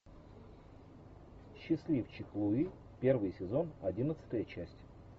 счастливчик луи первый сезон одиннадцатая часть